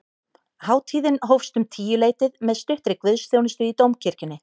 Hátíðin hófst um tíuleytið með stuttri guðsþjónustu í dómkirkjunni